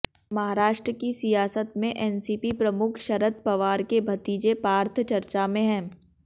महाराष्ट्र की सियासत में एनसीपी प्रमुख शरद पवार के भतीजे पार्थ चर्चा में हैं